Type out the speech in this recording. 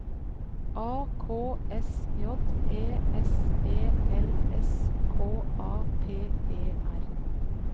A K S J E S E L S K A P E R